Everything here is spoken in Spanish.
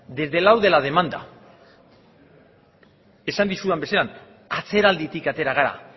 desde el lado de la demanda esan dizudan bezala atzeralditik atera gara